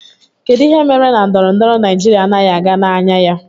Kedụ ihe mere na ndọrọndọrọ Naijiria anaghị aga n'anya ya?